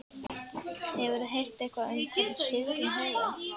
Hefurðu heyrt eitthvað um hvernig Sigrún hefur það?